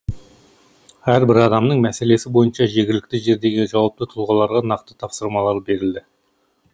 әрбір адамның мәселесі бойынша жергілікті жердегі жауапты тұлғаларға нақты тапсырмалар берілді